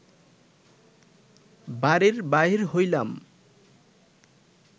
বাড়ির বাহির হইলাম